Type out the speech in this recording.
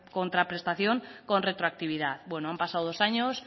contraprestación con retroactividad bueno han pasado dos años